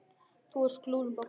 Þú ert glúrin, Bogga mín.